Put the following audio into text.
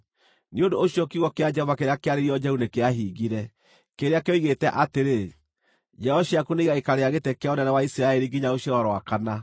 Nĩ ũndũ ũcio kiugo kĩa Jehova kĩrĩa kĩarĩirio Jehu nĩkĩahingire, kĩrĩa kĩoigĩte atĩrĩ: “Njiaro ciaku nĩigaikarĩra gĩtĩ kĩa ũnene wa Isiraeli nginya rũciaro rwa kana.”